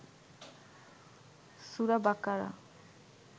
সুরা বাকারা